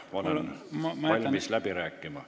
Ma olen valmis läbi rääkima.